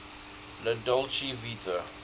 la dolce vita